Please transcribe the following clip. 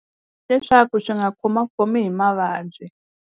Leswaku swi nga khomakhomi hi mavabyi.